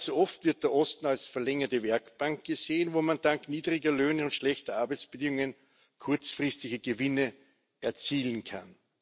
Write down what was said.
Allzu oft wird der Osten als verlängerte Werkbank gesehen, wo man dank niedriger Löhne und schlechter Arbeitsbedingungen kurzfristige Gewinne erzielen kann.